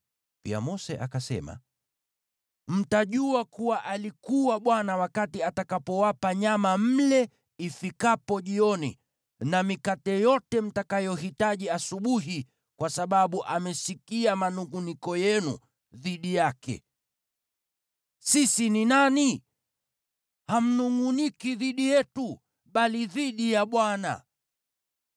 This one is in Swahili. Pia Mose akasema, “Mtajua kuwa alikuwa Bwana wakati atakapowapa nyama mle ifikapo jioni na mikate yote mtakayohitaji asubuhi kwa sababu amesikia manungʼuniko yenu dhidi yake. Sisi ni nani? Hamnungʼuniki dhidi yetu, bali dhidi ya Bwana .”